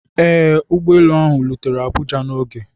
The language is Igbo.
Ee, ụgbọ elu ahụ rutere Abuja n'oge.